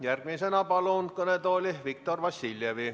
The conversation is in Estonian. Järgmisena palun kõnetooli Viktor Vassiljevi.